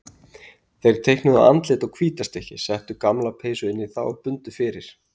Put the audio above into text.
Þeir teiknuðu andlit á hvíta stykkið, settu gamla peysu inn í það og bundu fyrir.